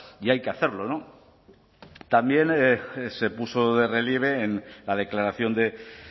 y hay que hacerlo también se puso de relieve en la declaración de